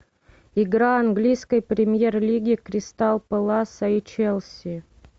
игра английской премьер лиги кристал пэласа и челси